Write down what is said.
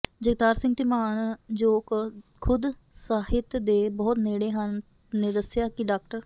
ਜਗਤਾਰ ਸਿੰਘ ਧੀਮਾਨ ਜ਼ੋ ਕ ਖੁਦ ਸਾਹਿਤ ਦੇ ਬਹੁਤ ਨੇੜੇ ਹਨ ਨੇ ਦੱਸਿਆ ਕਿ ਡਾ